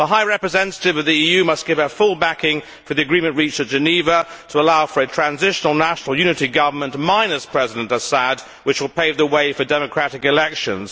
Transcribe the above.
The High Representative of the EU must give her full backing for the agreement reached at Geneva to allow for a transitional national unity government, minus President Assad, which will pave the way for democratic elections.